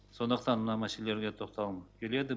сондықтан мына мәселелерге тоқталғым келеді